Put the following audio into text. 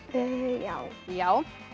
já já